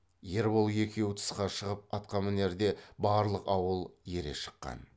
ербол екеуі тысқа шығып атқа мінерде барлық ауыл ере шыққан